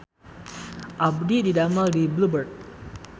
Abdi didamel di Blue Bird